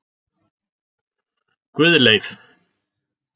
Guðleif